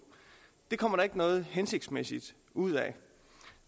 kommer der ikke noget hensigtsmæssigt ud af